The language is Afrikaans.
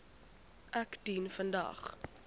ek dien vandag